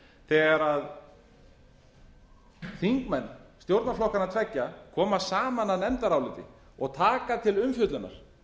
þegar þingmenn stjórnarflokkanna tveggja koma saman að nefndaráliti og taka til umfjöllunar